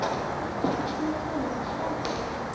Sú kona var fræg hér í plássinu.